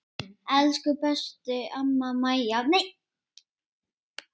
Elsku besta amma Mæja okkar.